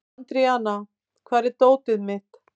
Andríana, hvar er dótið mitt?